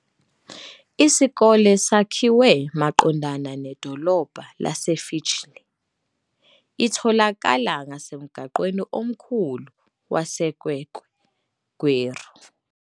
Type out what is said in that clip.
Isikole sakhiwe maqondana nedolobha laseFitchlea, itholakala ngasemgwaqweni omkhulu waseKwekwe - Gweru.